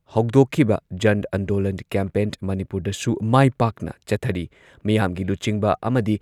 ꯍꯧꯗꯣꯛꯈꯤꯕ ꯖꯟ ꯑꯟꯗꯣꯂꯟ ꯀꯦꯝꯄꯦꯟ ꯃꯅꯤꯄꯨꯔꯗꯁꯨ ꯃꯥꯏ ꯄꯥꯛꯅ ꯆꯠꯊꯔꯤ ꯃꯤꯌꯥꯝꯒꯤ ꯂꯨꯆꯤꯡꯕ ꯑꯃꯗꯤ